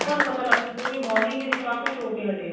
ਤਾਂ ਸਾਨੂੰ ਪਤਾ ਲੱਗਿਆ ਵੀ morning ਦੇ ਵਿੱਚ ਆਹ ਕੁੱਛ ਹੋ ਕੇ ਹਟਿਆ